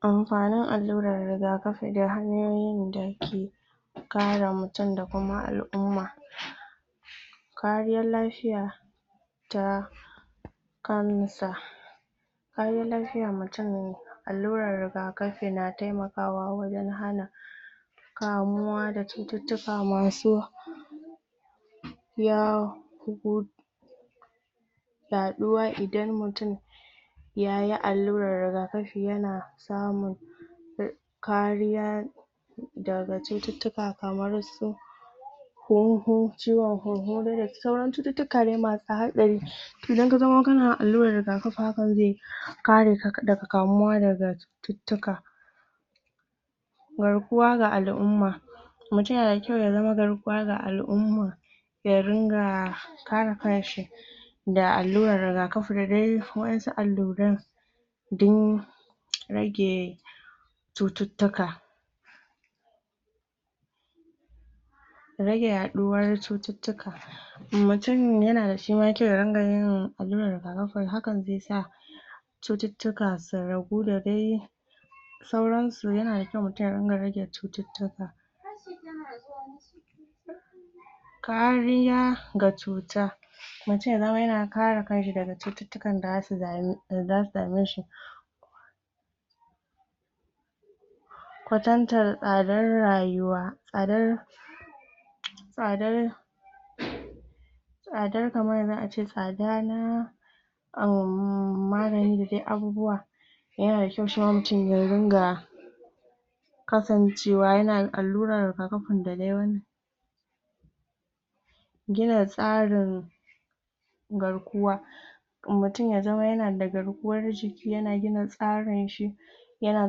amfanin allurar rigafi da hanyoyin da ke kare mutum da kuma alumma kariyar lafiya da kamun sa hanyoyin lafiya mutum allurar rigafi na taimakawa wajen hana kamuwa da cututtuka masu ya hu yaɗuwa idan mutum yayi allurar rigafi yana samun kariya daga cututtuka kamar su hunhu ciwan hunhu dai da sauran cututtuka dai masu haɗari idan ka zama kana alluran rigafi hakan zai kare ka daga kamuwa daga cututtuka garkuwa ga alumma mutum yana da kyau ya zama garkuwa ga alumma ya ringa kare kanshi da allurar rigafi da dai wa'insu alluran don rage cututtuka rage yaɗuwar cututtuka mutum yana da shima kyau ya ringa yawan alluran rigafin hakan zai sa cututtuka su ragu da dai sauran su yana da kyau mutum ya ringa rake cututtuka kariya ga cuta mutum ya zama yana kare kanshi daga cututtuka da zasu dame shi kwatantan tsadar rayuwa a dar tsadar tsadar kaman yanzu ace tsadar uhmm magani da duk abubuwa yana da kyau shima mutum ya dinga kasancewa yana allurar rigafni da dai gina tsarin garkuwa mutum ya zama yana da garkuwar jiki yana gina tsarin shi yana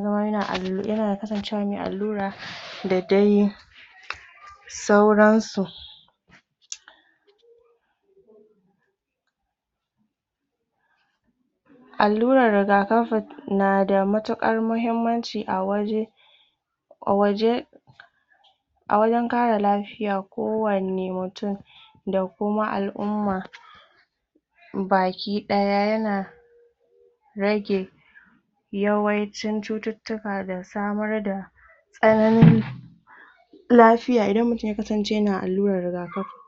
zama yana yana kasancewa mai allura da dai sauran su alluran rigafin na da matuƙar mahimmanci a waje a waje a wurin kare lafiya ko wani mutum da kuma alumma baki ɗaya yana rage yawaicin cututtuka da samar da ƙarami lafiya idan ya mutum ya kasance yana allurar rigakafi